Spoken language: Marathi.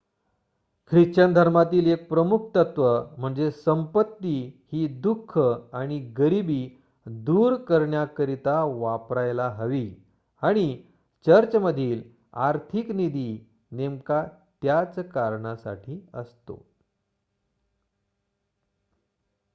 ख्रिश्चन धर्मातील 1 प्रमुख तत्व म्हणजे संपत्ती ही दुख आणि गरिबी दूर करण्याकरिता वापरायला हवी आणि चर्चमधील आर्थिक निधी नेमका त्याच कारणासाठी असतो